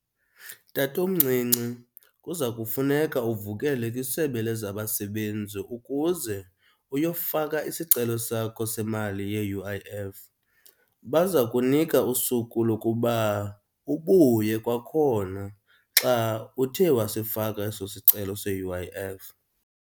Tatomncinci, kuza kufuneka uvukele kwisebe lezabasebenzi ukuze uyofaka isicelo sakho semali ye-U_I_F baza kunika usuku lokuba ubuye kwakhona xa uthe wasifaka eso sicelo se-U_I_F.